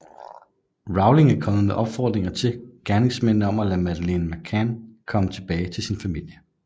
Rowling er kommet med opfordringer til gerningsmændene om at lade Madeleine McCann komme tilbage til sin familie